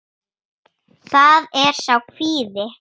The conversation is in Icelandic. Það er sá kvíði.